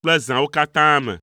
kple zãwo katã me.